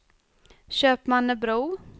Köpmannebro